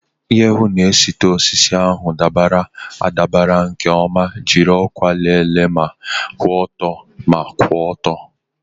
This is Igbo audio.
Iji hụ na etiti osisi ahụ dabara adabara nke ọma, jiri ọkwa lelee ma kwụ ọtọ na kwụ ọtọ.